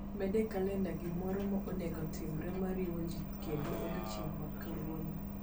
Med e kalenda gimoro ma onego otimre ma riwo jii kendo odiechieng' ma kawuono